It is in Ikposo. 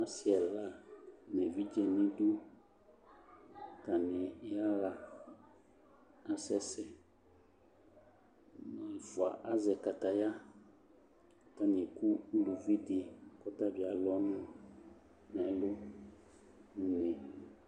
Ase ɛla ne evidze nedu, Atane yaha, asɛsɛ Mo ɛfua azɛ kataya ka atane aku uluvi de kɔta be alu ɔnu nɛlu no unee